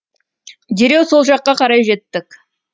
дереу сол жаққа қарай жеттік